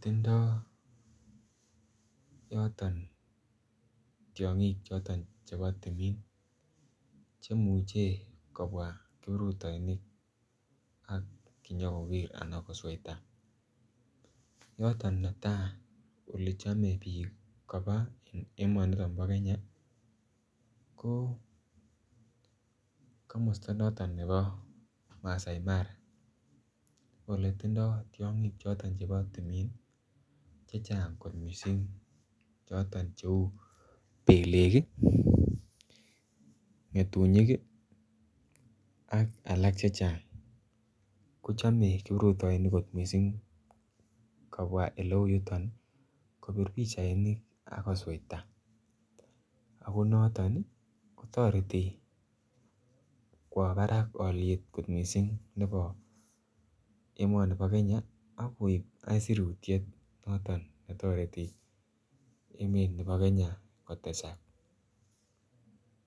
tindoi yoton tiong'ik choton chebo timin chemuche kobwa kiprutoinik kinyikoker anan kosweita yoton netai ole chomei biik koba en emonito bo Kenya ko komosta noton nebo masaai mara ole tindoi tiong'ik choton chebo timin chechang' kot mising' choton cheu belek ng'etunyik ak alak chechang' kochomei kiprutoinik kot mising' kobwa ole uu yuton kopir pichainik akosweita ako noton kotoreti kwo barak oliet kot mising' nebo emoni bo Kenya akoek isurutiet noton netoretin emet nebo Kenya kotesak